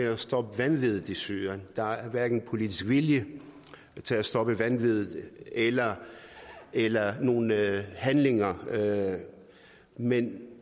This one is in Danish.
at stoppe vanviddet i syrien der er hverken politisk vilje til at stoppe vanviddet eller eller nogen handlinger men